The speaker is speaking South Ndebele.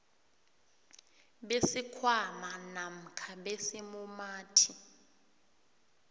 besikhwama namkha besimumathi